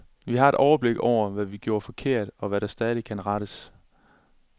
Vi har overblik over, hvad vi gjorde forkert, og hvad der stadig kan rettes.